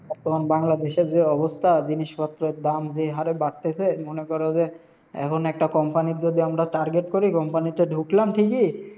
অখন বাংলাদেশের যে অবস্থা, জিনিসপত্রর দাম যেই হারে বাড়তেসে, মনে কর যে এখন একটা company -র যদি আমরা target করি, company -তে ঢুকলাম ঠিকই,